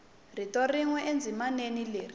rito rin we endzimaneni leri